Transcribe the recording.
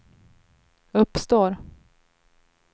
uppstår